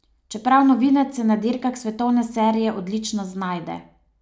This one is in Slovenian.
Čeprav novinec, se na dirkah svetovne serije odlično znajde.